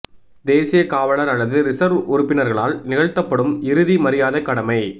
தேசிய காவலர் அல்லது ரிசர்வ் உறுப்பினர்களால் நிகழ்த்தப்படும் இறுதி மரியாதைக் கடமை